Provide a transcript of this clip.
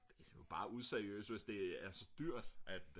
bare useriøst hvis det er så dyrt at